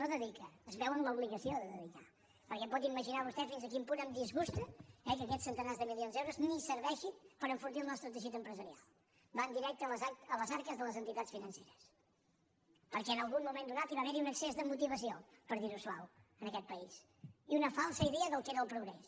no dedica es veu en l’obligació de dedicar perquè pot imaginar vostè fins a quin punt em disgusta eh que aquests centenars de milions d’euros ni serveixin per enfortir el nostre teixit empresarial van directe a les arques de les entitats financeres perquè en algun moment donat hi va haver un excés de motivació per dir ho suau en aquest país i una falsa idea del que era el progrés